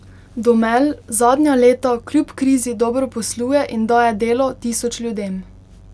Domel zadnja leta kljub krizi dobro posluje in daje delo tisoč ljudem.